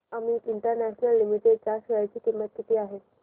Amit international limited च्या share ची किंमत किती आहे